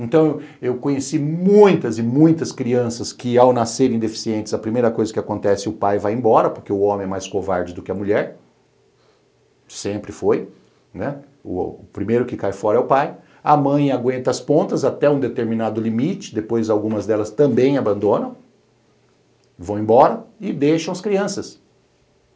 Então, eu conheci muitas e muitas crianças que, ao nascerem deficientes, a primeira coisa que acontece, o pai vai embora, porque o homem é mais covarde do que a mulher, sempre foi, né, o primeiro que cai fora é o pai, a mãe aguenta as pontas até um determinado limite, depois algumas delas também abandonam, vão embora e deixam as crianças.